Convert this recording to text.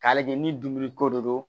K'a lajɛ ni dumuni ko de don